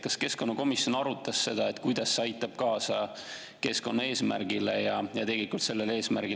Kas keskkonnakomisjon arutas seda, kuidas see aitab kaasa keskkonnaeesmärgile ja sellele eesmärgile, et romudest lahti saada?